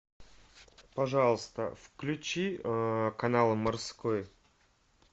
пожалуйста включи канал морской